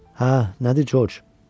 Hə, nədir Corc?